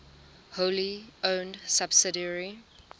wholly owned subsidiary